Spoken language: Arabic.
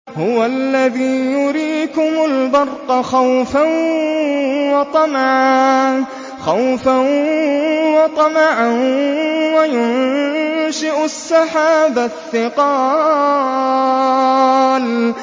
هُوَ الَّذِي يُرِيكُمُ الْبَرْقَ خَوْفًا وَطَمَعًا وَيُنشِئُ السَّحَابَ الثِّقَالَ